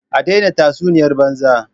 A daina tatsuniyar banza!!!